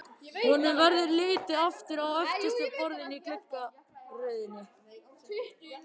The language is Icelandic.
Honum verður litið aftur á öftustu borðin í gluggaröðinni.